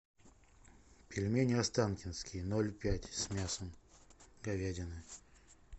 пельмени останкинские ноль пять с мясом говядины